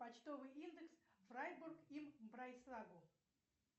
почтовый индекс фрайбург им брайсгау